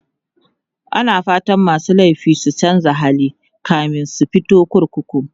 ana fatan masu laifi su chanza hali kamin su fito kurkuku